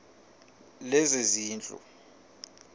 lezezindlu